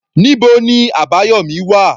Níbo ni Abayomi wà?